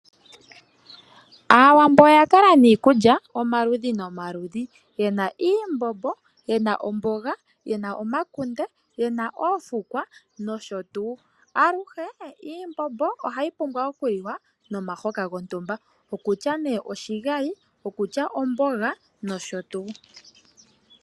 Aawambo oya kala niikulya omaludhi nomaludhi . Yena iimbombo, yena omboga ,yena omakunde ,yena oofukwa nosho tuu. Aluhe iimbombo ohayi pumbwa okuliwa nomahoka gontumba ,okutya nee oshigali ,okutya omboga nosho tuu.